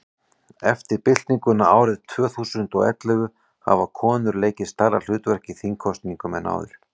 eftir byltinguna árið tvö þúsund og og ellefu hafa konur leikið stærra hlutverk í þingkosningum en áður